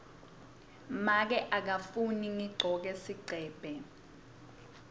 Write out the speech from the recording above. make akafuni ngigcoke sigcebhe